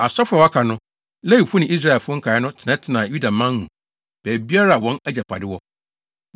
Asɔfo a wɔaka no, Lewifo ne Israelfo nkae no tenatenaa Yudaman mu baabiara a wɔn agyapade wɔ.